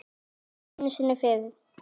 Ekki einu sinni fyrir